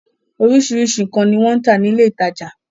Oríṣiríṣi nǹkan ni wọ́n ń tà nílé ìtajà.